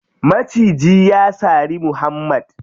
Maciji ya sari muhammad.